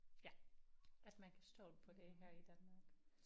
Ja at man kan stole på det her i Danmark